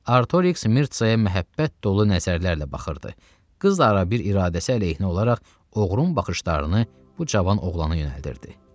Artoriks Mirtsaya məhəbbət dolu nəzərlərlə baxırdı, qız da ara bir iradəsi əleyhinə olaraq oğrun baxışlarını bu cavan oğlana yönəldirdi.